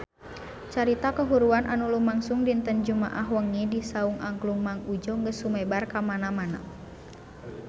Carita kahuruan anu lumangsung dinten Jumaah wengi di Saung Angklung Mang Udjo geus sumebar kamana-mana